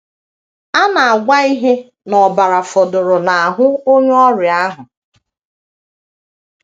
A na - agwa ihe n’ọbara fọdụrụ n’ahụ onye ọrịa ahụ.